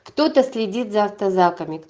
кто-то следит за автозаками